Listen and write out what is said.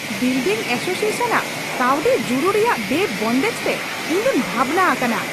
Building association ᱟᱜ ᱠᱟᱹᱣᱰᱤ ᱡᱩᱲᱩ ᱨᱮᱭᱟᱜ ᱵᱮᱼᱵᱚᱱᱫᱮᱡ ᱛᱮ ᱤᱧ ᱫᱩᱧ ᱵᱷᱟᱵᱽᱱᱟ ᱟᱠᱟᱱᱟ ᱾